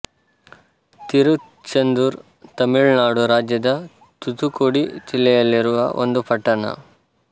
ತಿರುಚೆಂದುರ್ ತಮಿಳು ನಾಡು ರಾಜ್ಯದ ತೂತುಕುಡಿ ಜಿಲ್ಲೆಯಲ್ಲಿರುವ ಒಂದು ಪಟ್ಟಣ